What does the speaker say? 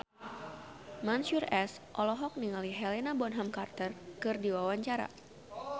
Mansyur S olohok ningali Helena Bonham Carter keur diwawancara